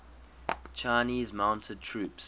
chinese mounted troops